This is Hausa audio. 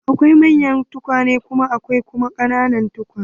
Akwai manyan tukwane akwai kuma ƙananan tukwane.